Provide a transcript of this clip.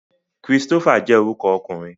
Christopher je oruko okunrin